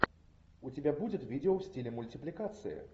у тебя будет видео в стиле мультипликация